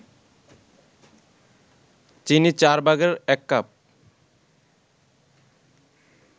চিনি ১/৪ কাপ